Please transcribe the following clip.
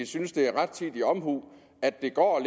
synes det er rettidig omhu at det går